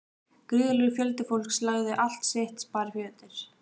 Gríðarlegur fjöldi fólks lagði allt sitt sparifé undir.